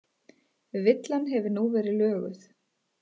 Villan hefur nú verið löguð